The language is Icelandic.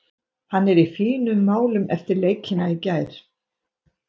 Hann er í fínum málum eftir leikina í gær.